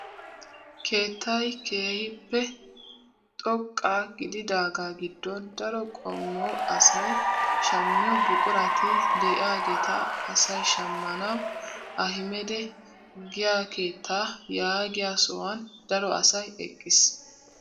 Keettay keehippe xoqqa gididaga giddon daro qommo asay shammiyoo buqurati de'iyaageta asay shammanawu ahimeda giyaa keettaa yaagiyaa sohuwaan daro asay eqqiis!